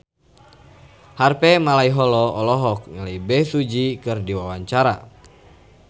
Harvey Malaiholo olohok ningali Bae Su Ji keur diwawancara